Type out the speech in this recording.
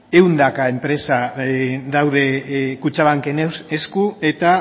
ehunka enpresa daude kutxabanken esku eta